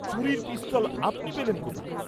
চুরীর পিস্তল আপনি পেলেন কোথা?